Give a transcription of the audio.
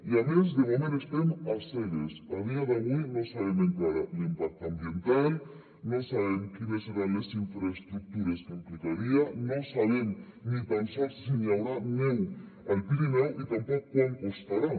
i a més de moment estem a cegues a dia d’avui no sabem encara l’impacte ambiental no sabem quines seran les infraestructures que implicaria no sabem ni tan sols si n’hi haurà neu al pirineu i tampoc quant costarà